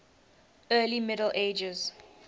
early middle ages